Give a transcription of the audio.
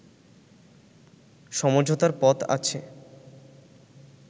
সমঝোতার পথ আছ